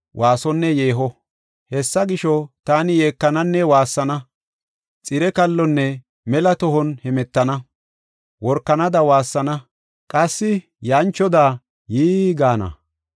Hessa gisho, taani yeekananne waassana; xire kallonne mela tohon hemetana. Workanada waassana; qassi yanchoda yii gaana.